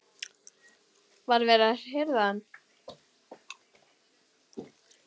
Var verið að hirða hann?